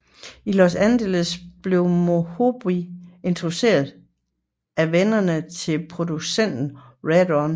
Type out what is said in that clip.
I Los Angeles blev Mohombi introduceret af venner til producent RedOne